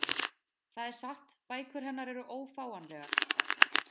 Það er satt, bækur hennar eru ófáanlegar